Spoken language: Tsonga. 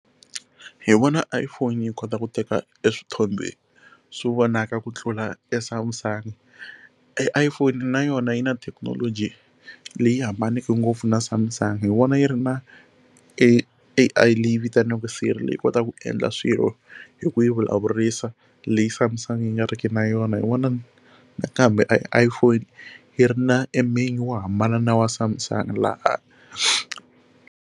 Hi vona iPhone yi kota ku teka swithombe swo vonaka ku tlula Samsung iPhone na yona yi na thekinoloji leyi hambaneke ngopfu na Samsung hi vona yi ri na A_I leyi vitaniwaka Siri yi kota ku endla swilo hi ku yi vulavurisa leyi Samsung yi nga riki na yona hi wona nakambe iPhone yi ri na e menu wo hambana na wa Samsung laha.